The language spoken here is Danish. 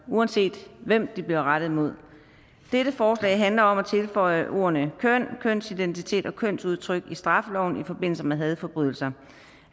uanset hvem det bliver rettet mod dette forslag handler om at tilføje ordene køn kønsidentitet og kønsudtryk i straffeloven i forbindelse med hadforbrydelser